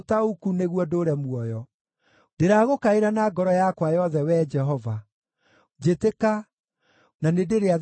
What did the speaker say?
Ndĩragũkaĩra na ngoro yakwa yothe, Wee Jehova, njĩtĩka, na nĩndĩrĩathĩkagĩra kĩrĩra kĩa watho waku.